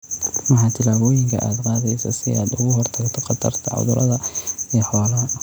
Maxaa tillaabooyinka aad qaadaysaa si aad uga hortagto khatarta cudurrada ee xoolaha?